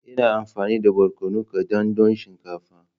Ina amfani da barkono kadan don shinkafa.